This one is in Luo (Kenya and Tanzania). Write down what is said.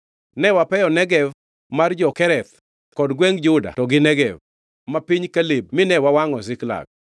Ne wapeyo Negev mar jo-Kereth kod gwengʼ Juda to gi Negev ma piny Kaleb mine wawangʼo Ziklag.”